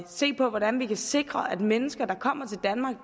se på hvordan vi kan sikre at mennesker der kommer til danmark